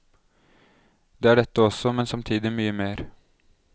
Det er dette også, men samtidig mye mer.